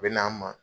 U bɛ n'an ma